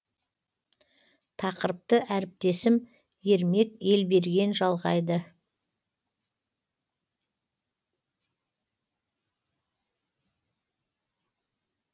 тақырыпты әріптесім ермек елберген жалғайды